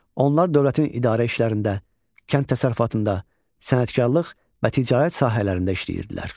Onlar dövlətin idarə işlərində, kənd təsərrüfatında, sənətkarlıq və ticarət sahələrində işləyirdilər.